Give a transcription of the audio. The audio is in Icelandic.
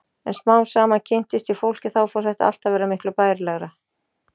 En smám saman kynntist ég fólki og þá fór þetta allt að verða miklu bærilegra.